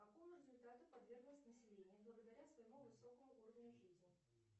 такому результату подверглось население благодаря своему высокому уровню жизни